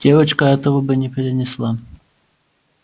девочка этого бы не перенесла